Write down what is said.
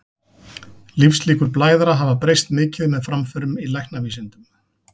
Lífslíkur blæðara hafa breyst mikið með framförum í læknavísindum.